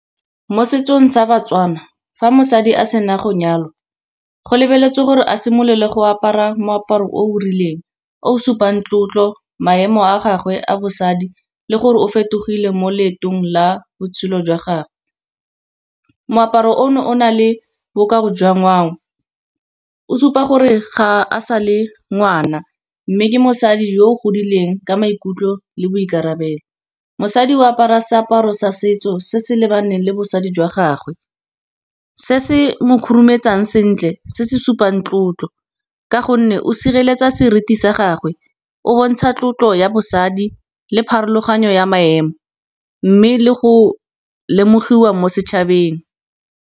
Mo setsong sa Batswana fa mosadi a sena go nyalwa, go lebeletswe gore a simolole go apara moaparo o rileng, o supang tlotlo, maemo a gagwe a bosadi le gore o fetogile mo leetong la botshelo jwa gagwe. Moaparo o no o na le bokao jwa ngwao, o supa gore ga e sa le ngwana, mme ke mosadi yo o godileng ka maikutlo le boikarabelo. Mosadi o apara seaparo sa setso se se lebaneng le bosadi jwa gagwe, se se mo khurumetsang sentle, se se supang tlotlo. Ka gonne o sireletsa seriti sa gagwe o bontsha tlotlo ya bosadi le pharologano ya maemo, mme le go lemogiwa mo setšhabeng.